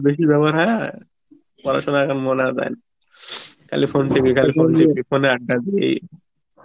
বেশি ব্যবহার হ্যাঁ, পড়াশুনা এ এখন মন আর দেয় না খালি phone ফোনএ আড্ডা দি এই